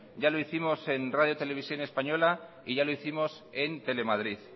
ya lo hicimos en radio televisión española y ya lo hicimos en telemadrid